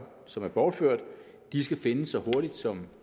som er bortført skal findes så hurtigt som